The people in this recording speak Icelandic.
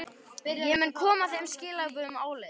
Ég mun koma þeim skilaboðum áleiðis.